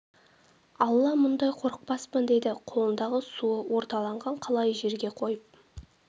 алла мұндай қорықпаспын деді қолындағы суы орталанған қалайы жерге қойып